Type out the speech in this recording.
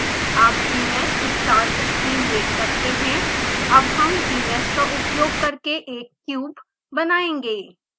आप gmshस्टार्ट स्क्रीन देख सकते हैं अब हम gmsh का उपयोग करके एक क्यूब घन बनायेंगे